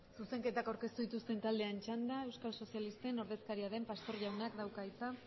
zuzenketak aurkeztu dituzten taldeen txanda euskal sozialisten ordezkaria den pastor jaunak dauka hitza